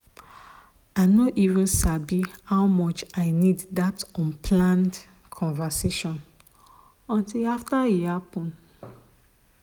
i no even sabi how much i need that unplanned conversation until after e happen.